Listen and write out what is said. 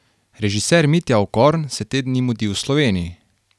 Režiser Mitja Okorn se te dni mudi v Sloveniji.